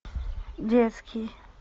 детский